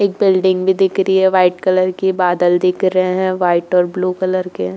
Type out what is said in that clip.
एक बिल्डिंग भी दिख रही है वाइट कलर की। बादल दिख रहे है वाइट और ब्लू कलर के।